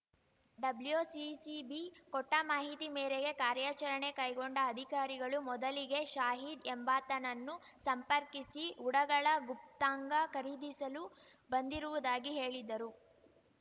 WCCB ಕೊಟ್ಟಮಾಹಿತಿ ಮೇರೆಗೆ ಕಾರ್ಯಾಚರಣೆ ಕೈಗೊಂಡ ಅಧಿಕಾರಿಗಳು ಮೊದಲಿಗೆ ಶಾಹಿದ್‌ ಎಂಬಾತನನ್ನು ಸಂಪರ್ಕಿಸಿ ಉಡಗಳ ಗುಪ್ತಾಂಗ ಖರೀದಿಸಲು ಬಂದಿರುವುದಾಗಿ ಹೇಳಿದ್ದರು